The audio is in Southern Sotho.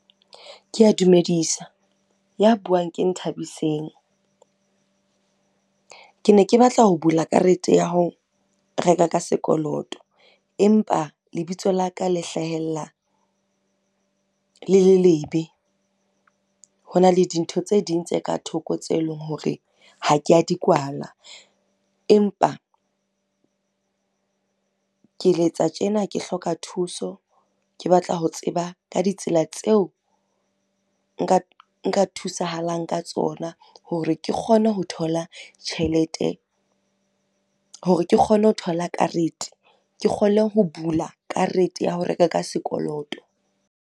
Ke a dumedisa, ya buang ke Nthabiseng. Ke ne ke batla ho bula karete ya ho reka ka sekoloto, empa lebitso la ka le hlahella, le le lebe. Hona le dintho tse ding tse ka thoko tseo e leng hore ha ke a di kwala. Empa, ke letsa tjena ke hloka thuso, ke batla ho tseba ka ditsela tseo, nka thusahalang ka tsona hore ke kgone ho thola tjhelete, hore ke kgone ho thola karete. Ke kgone ho bula karete ya ho reka ka sekoloto.